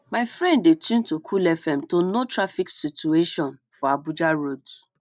my friend dey tune to cool fm to know traffic situation for abuja roads